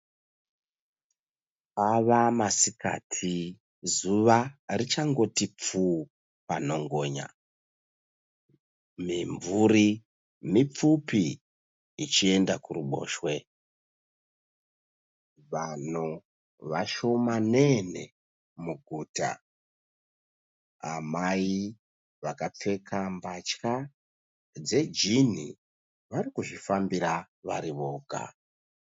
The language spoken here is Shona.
Ava masikati, zuva richangoti pfuu panhongonya. Mimvuri mipfupi ichienda kuruboshwe. Vanhu vashomanene muguta. Amai vakapfeka mbatya dzejini vari kuzvifambira vari voga.